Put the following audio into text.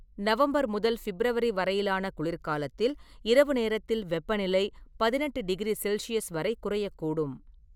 November முதல் February வரையிலான குளிர்காலத்தில் இரவு நேரத்தில் வெப்பநிலை பதினெட்டு டிகிரி செல்ஷியஸ் வரை குறையக்கூடும்.